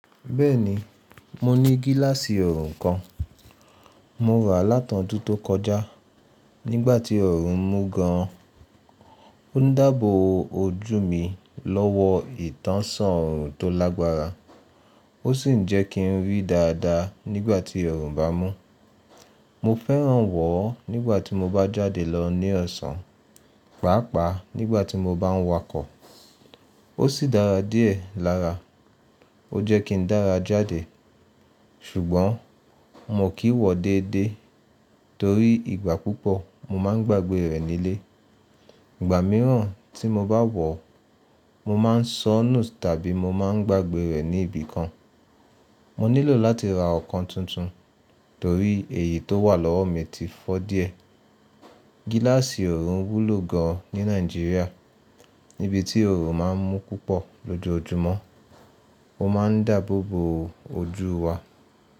Bẹ́ẹ̀ni, mo ní gíláàsì ọ̀orun kan. Morá láti ọdún tó kọjá. Nígbà tí ọ̀orun mú gan an, ó ń dábò ojú mi lọ́wọ́ ìtánsán oọ̀run tó lágbára. Ó sì ń jẹ́ kín rí dáadáa nígbà tí oọ̀run bá mú. Mo fẹ́ràn wọ̀ ọ́ nígbà tí mo bá jáde lọ ní ọ̀sán, pàápàá nígbà tí mo bá ń wakọ̀. Ó sì dára díẹ̀ lára. Ó jẹ́ kín dára jáde, ṣùgbọ́n mo kìi wọ̀ déédéé torí ìgbà púpọ̀ mo máa ń gbàgbé rẹ̀ nílé. Ìgbà mìíràn tí mo bá wọ̀ ọ́, mo máa ń soọ́nù tàbí mo máa ń gbàgbé rẹ̀ ní ibì kan. Mo nílò láti ra ọ̀kan tuntun torí èyí tó wà lọ́wọ́ mi ti fọ́ díẹ̀. Gíláàsì ọ̀run wúlò gan an ní Nàìjíríà níbi tí ọ̀orun má a ń mú púpọ̀ lójoojúmọ́. Ó máa ń dáàbò bo ojú wa.